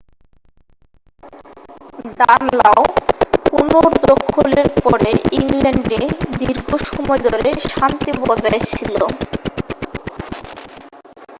দানলাও পুনর্দখলের পরে ইংল্যান্ডে দীর্ঘ সময় ধরে শান্তি বজায় ছিল